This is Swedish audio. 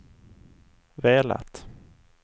velat